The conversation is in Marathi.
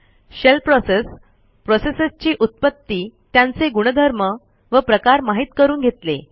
शेल प्रोसेस प्रोसेसेसची उत्पत्ती त्यांचे गुणधर्म व प्रकार माहित करून घेतले